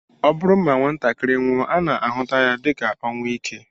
Ọ bụrụ na nwatakịrị nwụọ, a na-ahụta ya dịka ọnwụ ike